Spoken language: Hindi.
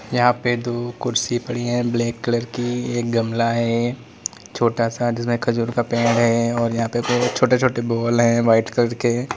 यहाँ पे दो कुर्सी पड़ी है ब्लैक कलर की एक गमला है छोटा सा जिसमें खजूर का पेड़ है और यहां पे बहुत छोटे छोटे बॉल है वाइट कलर के।